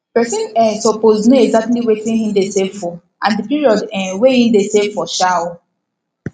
person um suppose know exactly wetin him de save for and the period um wey him de save for um